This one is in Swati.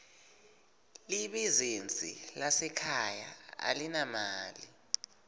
libizinsi lasekhaya alinamali